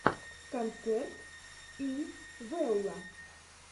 концерт пи вэлла